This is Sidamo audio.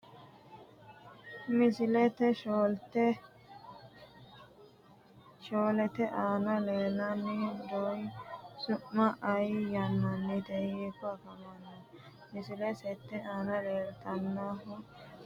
Misile 4te aana la’inanni dony su’my aye yaamamanno? Hiikko afamanno? Msile 8 te aana la’inannihu daa”ataano halchishannohu maricho yaamame egennamanno?